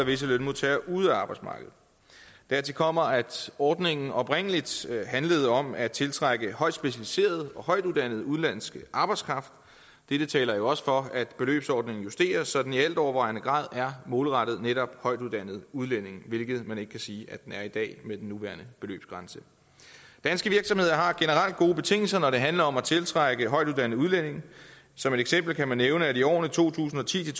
visse lønmodtagere ude af arbejdsmarkedet dertil kommer at ordningen oprindelig handlede om at tiltrække højtspecialiseret og højtuddannet udenlandsk arbejdskraft dette taler jo også for at beløbsordningen justeres så den i altovervejende grad er målrettet netop højtuddannede udlændinge hvilket man ikke kan sige den er i dag med den nuværende beløbsgrænse danske virksomheder har generelt gode betingelser når det handler om at tiltrække højtuddannede udlændinge som et eksempel kan man nævne at der i årene to tusind og ti til